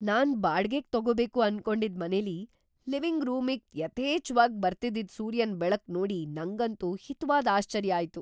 ನಾನ್ ಬಾಡ್ಗೆಗ್ ತಗೋಬೇಕು ಅನ್ಕೊಂಡಿದ್ ಮನೆಲಿ ಲಿವಿಂಗ್ ರೂಮಿಗ್ ‌ಯಥೇಚ್ಛವಾಗ್ ಬರ್ತಿದ್ದಿದ್ ಸೂರ್ಯನ್‌ ಬೆಳಕ್ ನೋಡಿ ನಂಗಂತೂ ಹಿತವಾದ್‌ ಆಶ್ಚರ್ಯ ಆಯ್ತು.